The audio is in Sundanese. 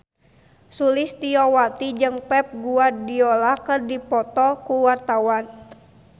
Sulistyowati jeung Pep Guardiola keur dipoto ku wartawan